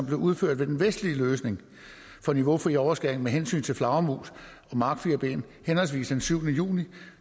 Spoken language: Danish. blev udført ved den vestlige løsning for niveaufri overskæring med hensyn til flagermus og markfirben henholdsvis den syvende juni